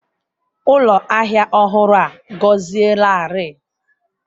Ụlọ ahịa ọhụrụ a gọzielarị.